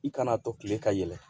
I kana to tile ka yɛlɛ